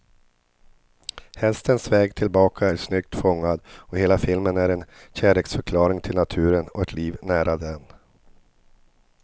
Hästens väg tillbaka är snyggt fångad, och hela filmen är en kärleksförklaring till naturen och ett liv nära den.